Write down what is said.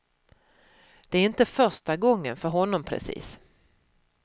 Det är inte första gången för honom precis.